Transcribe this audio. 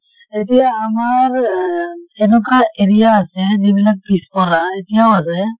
এতিয়া আমাৰ অহ এনেকুৱা area আছে যিবিলাক পিছপৰা এতিয়াও আছে।